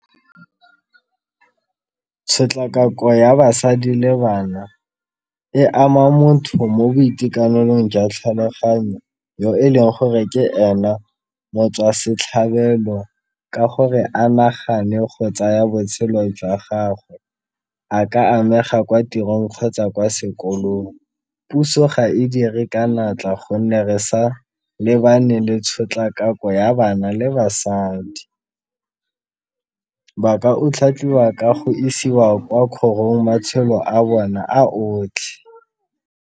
Tshotlakako ya basadi le bana e ama motho mo boitekanelong jwa tlhaloganyo yo e leng gore ke ena motswasetlhabelo ka gore a nagane go tsaya botshelo jwa gagwe, a ka amega kwa tirong kgotsa kwa sekolong puso ga e dire ka natla gonne re sa lebane le tshotlakako ya bana le basadi ba ka otlhaiwa ka go isiwa kwa kgorong matshelo a bona a otlhe.